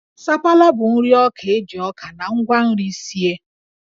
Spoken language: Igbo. Sapala bụ nri ọka e ji ọka na ngwa nri sie